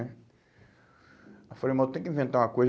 Aí eu falei, irmão, tem que inventar uma coisa.